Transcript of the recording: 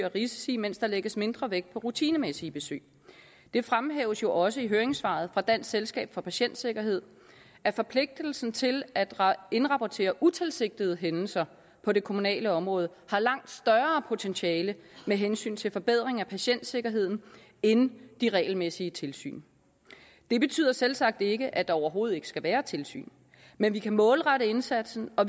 risici mens der lægges mindre vægt på rutinemæssige besøg det fremhæves også i høringssvaret fra dansk selskab for patientsikkerhed at forpligtelsen til at indrapportere utilsigtede hændelser på det kommunale område har langt større potentiale med hensyn til forbedring af patientsikkerheden end de regelmæssige tilsyn det betyder selvsagt ikke at der overhovedet ikke skal være tilsyn men vi kan målrette indsatsen og